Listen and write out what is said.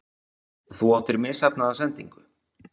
Þú áttir misheppnaða sendingu?